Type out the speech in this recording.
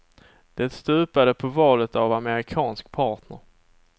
Det stupade på valet av amerikansk partner.